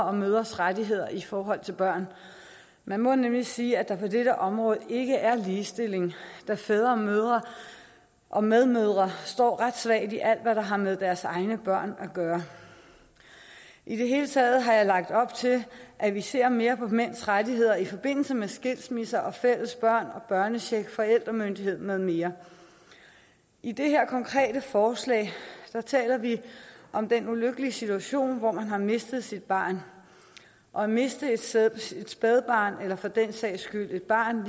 og mødres rettigheder i forhold til børn man må nemlig sige at der på dette område ikke er ligestilling da fædre og mødre og medmødre står ret svagt i alt hvad der har med deres egne børn at gøre i det hele taget har jeg lagt op til at vi ser mere på mænds rettigheder i forbindelse med skilsmisse og fælles børn og børnecheck forældremyndighed med mere i det her konkrete forslag taler vi om den ulykkelige situation hvor man har mistet sit barn og at miste et spædbarn eller for den sags skyld et barn